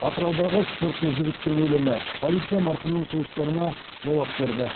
атыраудағы спортшы жігіттің өлімі полиция марқұмның туыстарына жауап берді